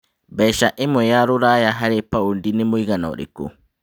mbeca ĩmwe ya rũraya harĩ paũndi nĩ mũigana ũrikũ